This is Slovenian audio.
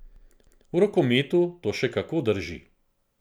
V rokometu to še kako drži.